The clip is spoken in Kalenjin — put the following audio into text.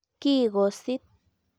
Kikosit.